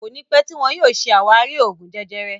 Kọ́ni pẹ tíì wọn yìí ó ṣe ṣé àwárí Oògún jẹjẹrẹ